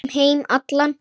Um heim allan.